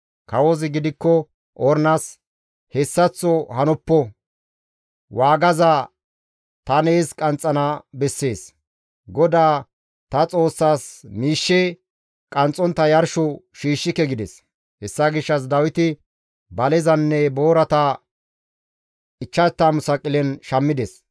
Kawozi gidikko Ornas, «Hessaththo hanoppo; waagaza ta nees qanxxana bessees. GODAA ta Xoossaas miishshe qanxxontta yarsho shiishshike» gides. Hessa gishshas Dawiti balezanne boorata 50 saqilen shammides.